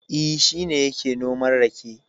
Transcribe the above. E, shi ne yake noman rake.